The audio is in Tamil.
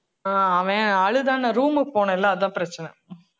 ஆஹ் அவன் அழுதான்னு நான் room க்கு போனேன் இல்லை அதான் பிரச்சனை